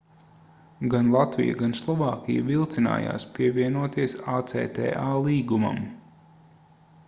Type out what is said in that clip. gan latvija gan slovākija vilcinājās pievienoties acta līgumam